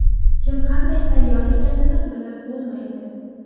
Kim qanday tayyor ekanini bilib bo‘lmaydi.